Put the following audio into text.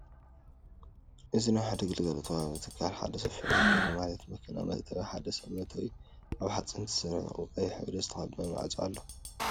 እዚ ናይ ሓደ ግልጋሎት ዋሃቢ ትካል ሓደ ሰፊሕ በሪ ማለት መኪና መእተዊ እቲ ሓደ ሰብ መእተዊ ካብ ሓፂን ዝተሰርሑ ብቀይሕ ሕብሪ ዝተቀበኣ ማዕፆ ኣሎ።